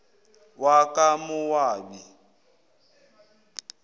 wakamowabi